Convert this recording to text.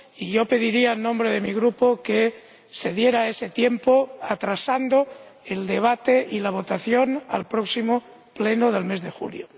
y yo pediría en nombre de mi Grupo que se diera ese tiempo, aplazando el debate y la votación al próximo Pleno del mes de julio.